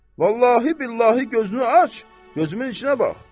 Vallahi billahi gözünü aç, gözümün içinə bax.